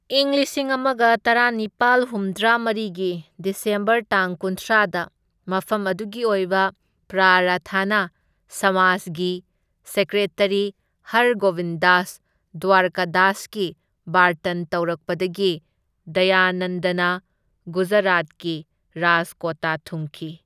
ꯏꯪ ꯂꯤꯁꯤꯡ ꯑꯃꯒ ꯇꯔꯥꯅꯤꯄꯥꯜ ꯍꯨꯝꯗ꯭ꯔꯥ ꯃꯔꯤꯒꯤ ꯗꯤꯁꯦꯝꯕꯔ ꯇꯥꯡ ꯀꯨꯟꯊ꯭ꯔꯥꯗ, ꯃꯐꯝ ꯑꯗꯨꯒꯤ ꯑꯣꯏꯕ ꯄ꯭ꯔꯥꯔꯊꯅꯥ ꯁꯃꯥꯖꯒꯤ ꯁꯦꯀ꯭ꯔꯦꯇꯔꯤ, ꯍꯔꯒꯣꯕꯤꯟ ꯗꯥꯁ ꯗ꯭ꯋꯥꯔꯀꯗꯥꯁꯀꯤ ꯕꯥꯔꯇꯟ ꯇꯧꯔꯛꯄꯗꯒꯤ ꯗꯌꯥꯅꯟꯗꯅ ꯒꯨꯖꯔꯥꯠꯀꯤ ꯔꯥꯖꯀꯣꯠꯇ ꯊꯨꯡꯈꯤ꯫